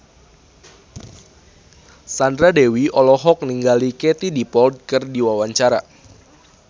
Sandra Dewi olohok ningali Katie Dippold keur diwawancara